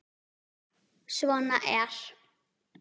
Svona er.